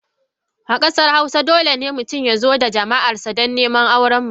A kasar hausawa, dole ne mutum ya zo da jama’arsa don neman auren mace.